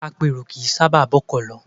Apèrò kì í sábà bọ́kọ̀ lọ.